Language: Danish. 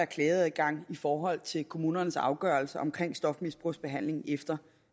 klageadgang i forhold til kommunernes afgørelser omkring stofmisbrugsbehandling efter